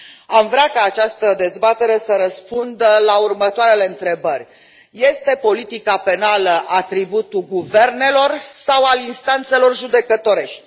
Am vrea ca această dezbatere să răspundă la următoarele întrebări este politica penală atributul guvernelor sau al instanțelor judecătorești?